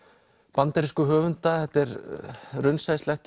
bandarísku höfunda þetta er